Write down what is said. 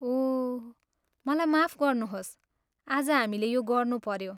ओह, मलाई माफ गर्नुहोस् आज हामीले यो गर्नुपऱ्यो।